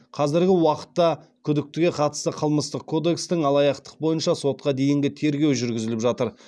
қазіргі уақытта күдіктіге қатысты қылмыстық кодекстің алаяқтық бойынша сотқа дейінгі тергеу жүргізіліп жатыр